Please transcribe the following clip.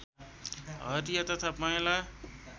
हरिया तथा पहेँला